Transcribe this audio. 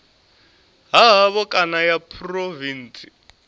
ha havho kana ya phurovintsi